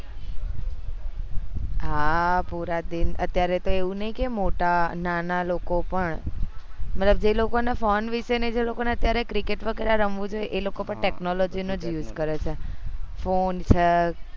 હા પુરા દિન અત્યારે તો એવું નહી કે મોટા નાના લોકો પણ મતલબ જે લોકો ન ફોન વિશે જેને cricket વગેરે રમવું જોઈએ એ પણ અત્યારે technology નોજ use કરે છે ફોન છે